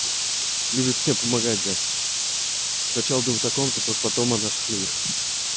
любит все помогать блядь сначала думают о ком-то только потом о наших людях